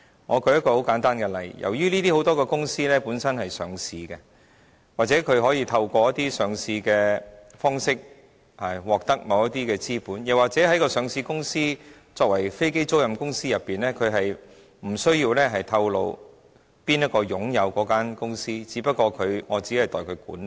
我舉一個很簡單的例子，由於這些公司很多是上市公司，或透過一些上市的方式，獲得某些資本，又或是上市公司作為飛機租賃公司，它無須透露誰人擁有那間公司，它只是代為管理。